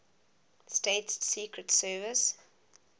states secret service